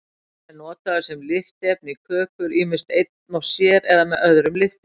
Hann er notaður sem lyftiefni í kökur, ýmist einn og sér eða með öðrum lyftiefnum.